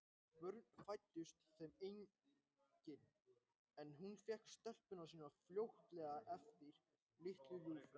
Börn fæddust þeim engin, en hún fékk telpuna sína fljótlega til sín, litlu ljúfuna.